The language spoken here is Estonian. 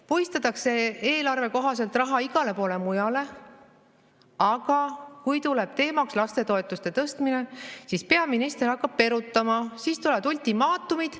Puistatakse eelarve kohaselt raha igale poole mujale, aga kui tuleb teemaks lastetoetuste tõstmine, siis peaminister hakkab perutama, siis tulevad ultimaatumid.